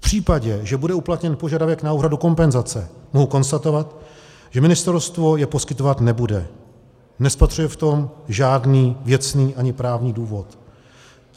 V případě, že bude uplatněn požadavek na úhradu kompenzace, mohu konstatovat, že ministerstvo ji poskytovat nebude, nespatřuje v tom žádný věcný ani právní důvod.